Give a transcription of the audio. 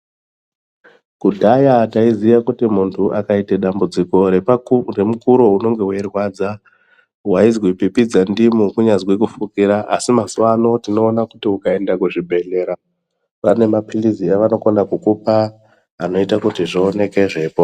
Kudhaya taiziya kuti muntu akaite dambudziko remukuro unenge weirwadza, waizwi pipidza ndimu kunyazwi kufukira. Asi mazuva ano tinoona kuti ukaenda kuzvibhehlera vane maphilizi avanokona kukupa inoita kuti zvioneke zveipo...